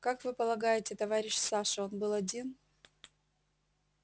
как вы полагаете товарищ саша он был один